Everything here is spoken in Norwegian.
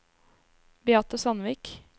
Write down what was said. Beate Sandvik